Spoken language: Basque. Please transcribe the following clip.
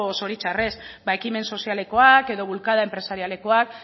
zoritxarrez ba ekimen sozialekoak edo bulkada enpresarialekoak